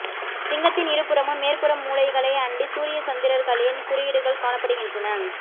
சிங்கத்தின் இரு புறமும் மேற்புற மூலைகளை அண்டி சூரிய சந்திரர்களின் குறியீடுகள் காணப்படுகின்றன